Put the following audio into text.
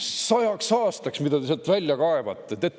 sajaks aastaks kivi, mida te sealt välja kaevate.